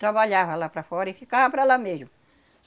Trabalhava lá para fora e ficava para lá mesmo.